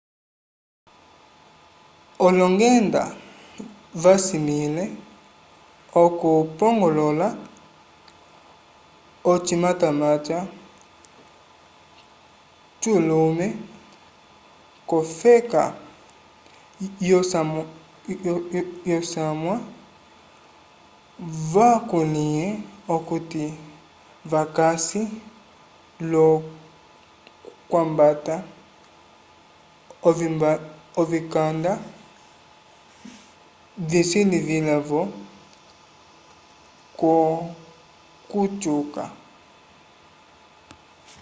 olongenda vasimĩle okupongolola ocimatamata culume k'ofeka yosamwa vakulĩhe okuti vakasi l'okwambata ovikanda visilivila-vo k'okutyuka